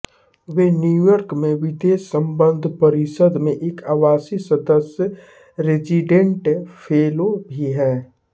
वे New York में विदेश सम्बन्ध परिषद् में एक आवासी सदस्य रेज़िडेंट फेलो भी हैं